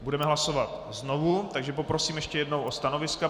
Budeme hlasovat znovu, takže poprosím ještě jednou o stanoviska.